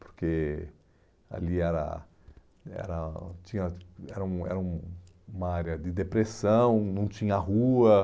Porque ali era era tinha era um era um uma área de depressão, não tinha rua.